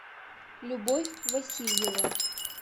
любовь васильева